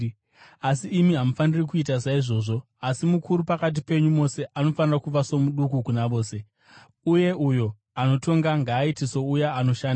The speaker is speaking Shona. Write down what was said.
Asi imi hamufaniri kuita saizvozvo. Asi, mukuru pakati penyu mose anofanira kuva somuduku kuna vose, uye uyo anotonga ngaaite souya anoshanda.